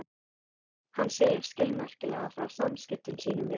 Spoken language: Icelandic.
Hann segir skilmerkilega frá samskiptum sínum við